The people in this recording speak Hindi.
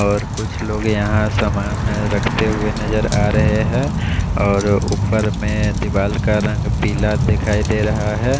और कुछ लोग यहाँ पर सामान रखते हुए नज़र आरहे है और ऊपर में दीवाल का रंग पीला दिखाई दे रहा है।